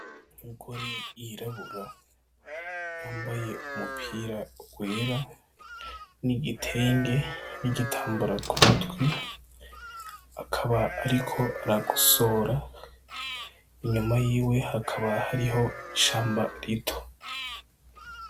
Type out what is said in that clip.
Umugore yirabura yambaye umupira wera, n'igitenge, n'igitambaro kumutwe, akaba ariko aragosora inyuma yiwe hakaba hariho ishamba rito.